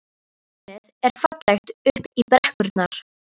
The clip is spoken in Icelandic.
Útsýnið er fallegt upp í brekkurnar.